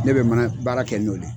Ne be mana baara kɛ n'o le ye